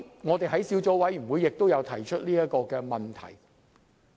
我們在小組委員會上也有提出這問題。